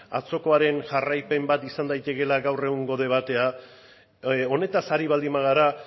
atzokoaren jarraipen bat izan daitekeela gaur egungo debatea honetaz ari baldin bagara